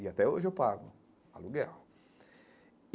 E até hoje eu pago aluguel.